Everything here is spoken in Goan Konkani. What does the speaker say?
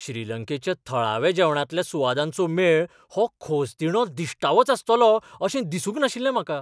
श्रीलंकेच्या थळाव्या जेवणांतल्या सुवादांचो मेळ हो खोसदिणो दिश्टावोच आसतलो अशें दिसूंक नाशिल्लें म्हाका.